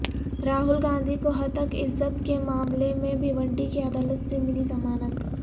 راہل گاندھی کو ہتک عزت کے معاملہ میں بھیونڈی کی عدالت سے ملی ضمانت